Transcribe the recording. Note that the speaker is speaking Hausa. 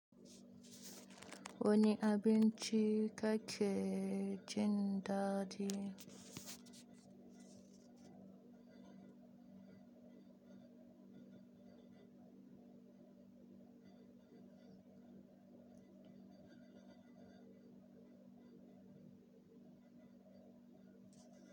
Wani abinci kake jin daɗi?